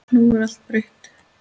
Nú er allt breytt.